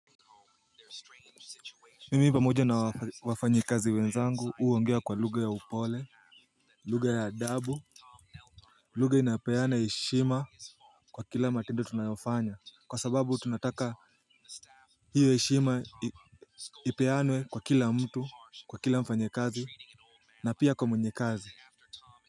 Mimi pamoja na wafanyekazi wenzangu huongea kwa lugha ya upole luge ya upole lugha ya adabu. Lugha inapeana heshima kwa kila matendo tunayofanya kwa sababu tunataka hiyo heshima ipeanwe kwa kila mtu kwa kila mfanyekazi na pia kwa mwenye kazi.